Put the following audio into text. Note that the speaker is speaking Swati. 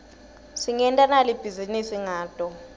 singenta nali bhizinisi ngato